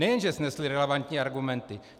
Nejen že snesli relevantní argumenty.